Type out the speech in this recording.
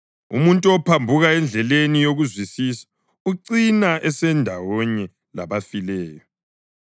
Umuntu ophambuka endleleni yokuzwisisa ucina esendawonye labafileyo.